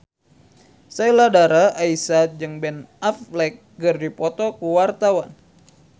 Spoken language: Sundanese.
Sheila Dara Aisha jeung Ben Affleck keur dipoto ku wartawan